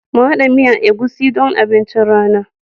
Mu hada miyan egusi don abincin rana.